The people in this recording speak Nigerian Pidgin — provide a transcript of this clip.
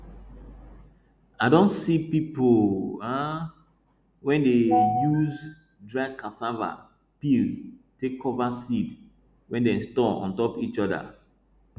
i don see pipo um wey dey use dry cassava peels take cover seed wey dem store on top each other